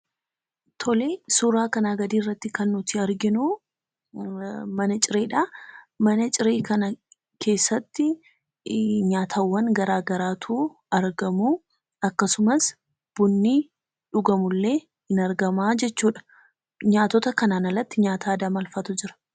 tolee suuraa kanaa gadirratti kan nuti arginuu mana cireedhaa , mana ciree kana keessattii nyaatawwan garagaraatu argamu, akkasumas bunni dhugamullee ni argamuu jechuudha. Nyaatota kanan alatti nyaata aada maalfaatu jira?